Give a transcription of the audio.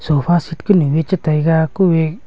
sofa seat kunu ee cha taiga ku e--